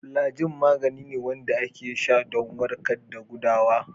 Flajil magani ne wande a ke sha don warkad da gudawa